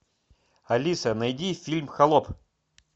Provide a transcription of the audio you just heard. алиса найди фильм холоп